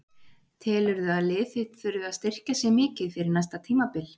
Telurðu að lið þitt þurfi að styrkja sig mikið fyrir næsta tímabil?